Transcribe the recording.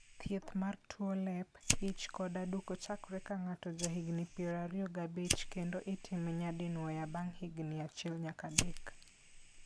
Thiedh mar tuo lep, ich, kod aduko chakore ka ng'ato jahigini piero ario gi abich kendo itime nyadinwoya bang' higini achiel nyaka adek.